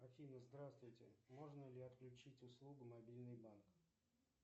афина здравствуйте можно ли отключить услугу мобильный банк